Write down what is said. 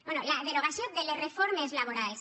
bé la derogació de les reformes laborals